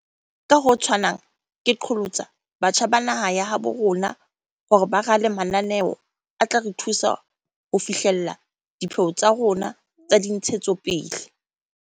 Ka ho tshwanang, ke qholotsa batjha ba naha ya habo rona hore ba rale mananeo a tla re thusa ho fi hlella dipheo tsa rona tsa dintshetsopele.